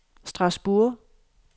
Strasbourg